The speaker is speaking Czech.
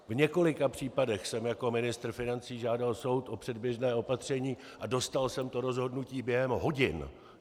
V několika případech jsem jako ministr financí žádal soud o předběžné opatření a dostal jsem to rozhodnutí během hodin.